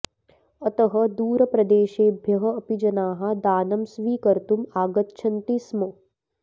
अतः दूरप्रदेशेभ्यः अपि जनाः दानं स्वीकर्तुं आगच्छन्ति स्म